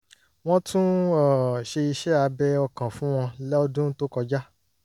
wọ́n tún um ṣe iṣẹ́ abẹ ọkàn fún wọn lọ́dún tó kọjá